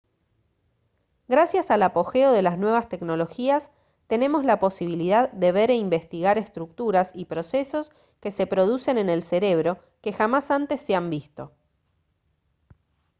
gracias al apogeo de las nuevas tecnologías tenemos la posibilidad de ver e investigar estructuras y procesos que se producen en el cerebro que jamás antes se han visto